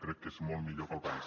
crec que és molt millor per al país